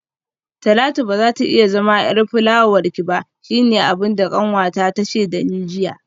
Talatu bazata iya zama yar fulawarki ba shine abinda kanwata tace dani jiya